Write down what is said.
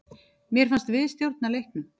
Mér fannst við stjórna leiknum.